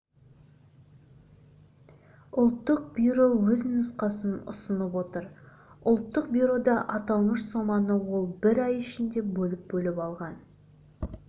ұлттық бюро өз нұсқасын ұсынып отыр ұлттық бюрода аталмыш соманы ол бір ай ішінде бөліп-бөліп алған